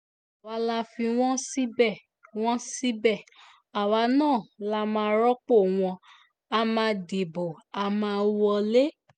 àwa la fi wọ́n síbẹ̀ wọ́n síbẹ̀ àwa náà la máa rọ́pò wọ́n á máa dìbò a máa wọlé